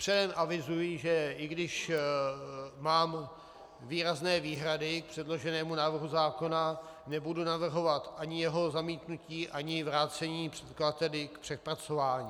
Předem avizuji, že i když mám výrazné výhrady k předloženému návrhu zákona, nebudu navrhovat ani jeho zamítnutí, ani vrácení předkladateli k přepracování.